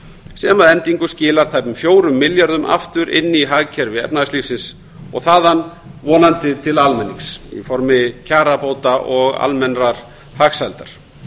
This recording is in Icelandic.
sem að endingu skilar tæpum fjórum milljörðum aftur inn í hagkerfi efnahagslífsins og þaðan vonandi til almenning í formi kjarabóta og almennrar hagsældar